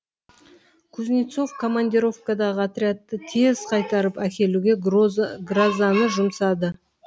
кузнецов командировкадағы отрядты тез қайтарып әкелуге грозаны жұмсады